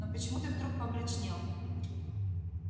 но почему ты вдруг помрачнел